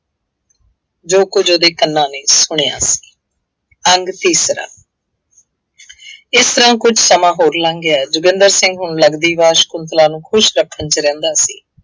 ਜੋ ਕੁੱਝ ਉਹਦੇ ਕੰਨਾਂ ਨੇ ਸੁਣਿਆ। ਅੰਗ ਤੀਸਰਾ ਇਸ ਤਰ੍ਹਾਂ ਕੁੱਝ ਸਮਾਂ ਹੋਰ ਲੰਘ ਗਿਆ, ਜੋਗਿੰਦਰ ਸਿੰਘ ਹੁਣ ਲੱਗਦੀ ਵਾਰ ਸ਼ੰਕੁਤਲਾ ਨੂੰ ਖੁਸ਼ ਰੱਖਣ ਚ ਰਹਿੰਦਾ ਸੀ।